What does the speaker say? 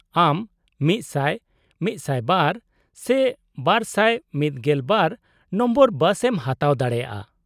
-ᱟᱢ ᱑᱐᱐ᱹ᱑᱐᱒ᱹ ᱥᱮ ᱒᱑᱒ ᱱᱚᱢᱵᱚᱨ ᱵᱟᱥ ᱮᱢ ᱦᱟᱛᱟᱣ ᱫᱟᱲᱮᱭᱟᱜᱼᱟ ᱾